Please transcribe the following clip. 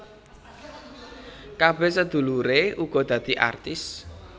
Kabeh sedulure uga dadi artis